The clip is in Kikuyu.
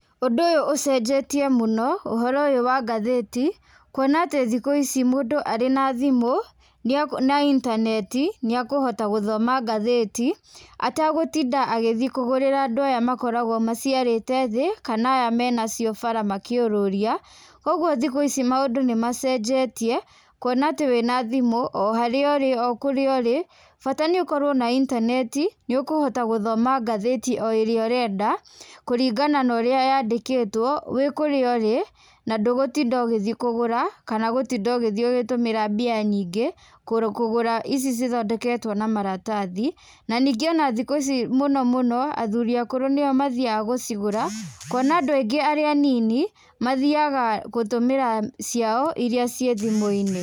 Ũndũ ũyũ ũcenjetie mũno, ũhoro ũyũ wa ngathĩti, kuona atĩ thikũ ici mũndũ arĩ na thimũ, na intaneti, nĩ akũhota gũthoma ngathĩti atagũtinda agĩthi kũgũrĩra andũ aya makoragwo maciarĩte thĩ kana aya me nacio bara makĩũrũria. Kũguo thikũ ici maũndũ nĩ macenjetie, kuona atĩ wĩna thimũ o harĩa ũrĩ o kũrĩa ũrĩ bata nĩ ũkorwo na intaneti nĩ ũkũhota gũthoma gathĩti o ĩrĩa ũrenda kũringana na ũrĩa yandĩkĩtwo wĩ kũrĩa ũrĩ na ndũgũtinda ũgĩthi kũgũra kana gũthi gũtinda ũgĩthi ũgĩtũmĩra mbia nyingĩ kũgũra ici cithondeketwo na maratathi, na ningĩ ona thikũ ici mũno mũno, athuri akũrũ nĩo mathiaga gũcigũra, kuona andũ aingĩ arĩa anini mathiaga gũtũmĩra ciao irĩa ciĩ thimũ-inĩ.